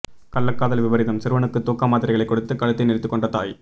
கள்ளக்காதல் விபரீதம் சிறுவனுக்கு தூக்க மாத்திரைகளை கொடுத்து கழுத்தை நெரித்துக்கொன்ற தாய்